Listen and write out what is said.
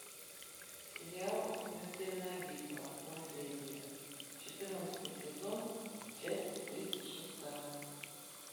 сериал смертельная битва наследие четырнадцатый сезон часть тридцать шестая